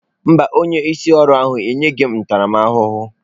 Mba, onye isi ọrụ ahụ enyeghị m ntaramahụhụ.